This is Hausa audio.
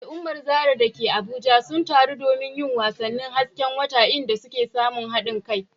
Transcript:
Al’ummar Zarah da ke Abuja sun taru domin yin wasannin hasken wata, inda suka samu haɗin kai.